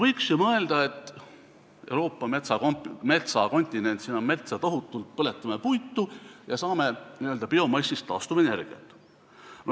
Võiks ju mõelda, et Euroopa on metsakontinent, siin on metsa tohutult, põletame puitu ja saame n-ö biomassist taastuvenergiat.